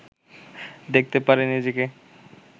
দেখতে পারে নিজেকে